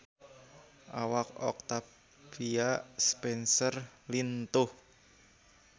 Awak Octavia Spencer lintuh